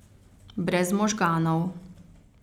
Brez možganov.